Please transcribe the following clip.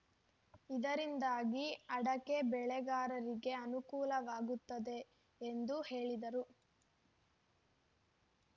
ಇದರಿಂದಾಗಿ ಅಡಕೆ ಬೆಳೆಗಾರರಿಗೆ ಅನುಕೂಲವಾಗುತ್ತದೆ ಎಂದು ಹೇಳಿದರು